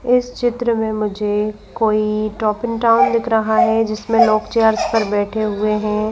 इस चित्र में मुझे कोई टॉकिंग टावर दिख रहा है जिसमें लोग चेयर्स पर बैठे हुए हैं।